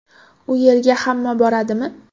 U yerga hamma boradimi?